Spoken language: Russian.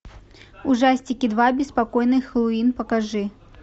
ужастики два беспокойный хэллоуин покажи